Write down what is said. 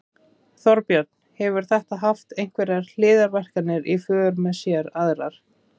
Þorbjörn: Hefur þetta haft einhverjar hliðarverkanir í för með sér aðrar?